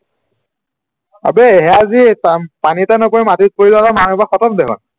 আবে সেয়া যে পানীতে নপৰি মাটিত পৰি গলে মানুহবোৰ খটম দেখুন